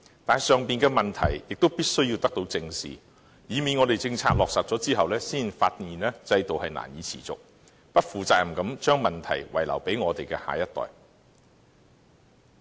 但是，上述的問題必須得到正視，以免政策落實後，才發現制度難以持續，只能不負責任地將問題遺留給我們的下一代。